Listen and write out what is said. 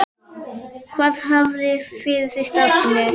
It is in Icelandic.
Hvað hafið þið fyrir stafni?